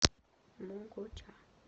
могоча